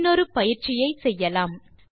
இன்னொரு எக்ஸர்சைஸ் ஐ செய்யலாம்